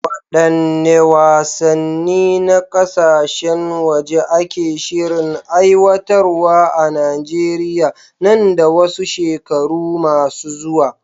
Waɗanne wasanni na kasashen waje ake shirin aiwatarwa a Najeriya nan da wasu shekaru masu zuwa?